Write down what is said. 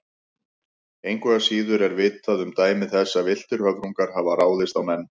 Engu að síður er vitað um dæmi þess að villtir höfrungar hafi ráðist á menn.